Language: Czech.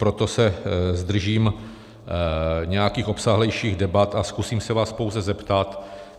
Proto se zdržím nějakých obsáhlejších debat a zkusím se vás pouze zeptat.